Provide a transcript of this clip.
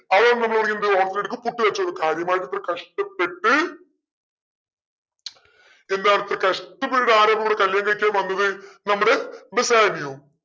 അതോണ്ട് നമ്മൾ പറയും എന്ത് ഓണത്തിന്റെ ഇടക്ക് പുട്ട് കച്ചോടം കാര്യമായിട്ട് ഇത്ര കഷ്ടപ്പെട്ട് എല്ലാരു ഇത്ര കഷ്ടപ്പെട്ടിട്ട് ആരാണിവിടെ കല്യാണം കഴിക്കാൻ വന്നത് നമ്മുടെ ബെസാനിയോ